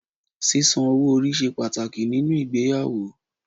Sísan owó orí ṣe pàtàkì nínú ìgbéyàwó